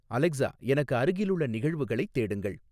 Alexa எனக்கு அருகிலுள்ள நிகழ்வுகளைத் தேடுங்கள்